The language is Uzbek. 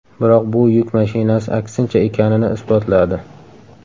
Biroq bu yuk mashinasi aksincha ekanini isbotladi.